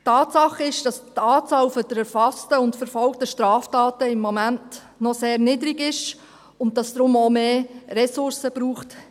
Tatsache ist, dass die Anzahl der erfassten und verfolgten Straftaten im Moment noch sehr niedrig ist, und dass es in diesem Bereich deswegen auch mehr Ressourcen braucht.